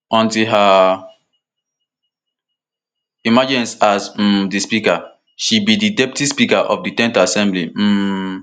until her emergence as um di speaker she be di deputy speaker of di ten th assembly um